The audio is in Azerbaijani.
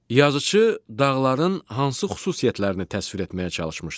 Yazıçı dağların hansı xüsusiyyətlərini təsvir etməyə çalışmışdı?